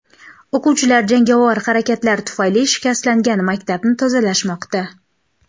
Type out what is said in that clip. O‘quvchilar jangovar harakatlar tufayli shikastlangan maktabni tozalashmoqda.